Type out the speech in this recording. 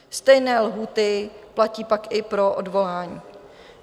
Stejné lhůty platí pak i pro odvolání.